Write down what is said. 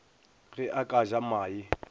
ge a ka ja mae